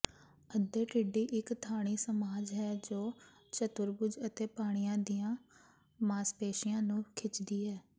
ਅੱਧੇ ਟਿੱਡੀ ਇੱਕ ਥਾਈ ਮਸਾਜ ਹੈ ਜੋ ਚਤੁਰਭੁਜ ਅਤੇ ਪਾਣੀਆਂ ਦੀਆਂ ਮਾਸਪੇਸ਼ੀਆਂ ਨੂੰ ਖਿੱਚਦੀ ਹੈ